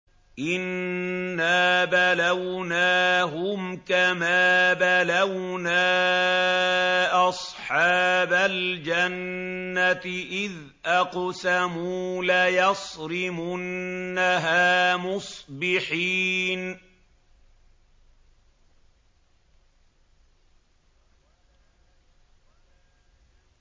إِنَّا بَلَوْنَاهُمْ كَمَا بَلَوْنَا أَصْحَابَ الْجَنَّةِ إِذْ أَقْسَمُوا لَيَصْرِمُنَّهَا مُصْبِحِينَ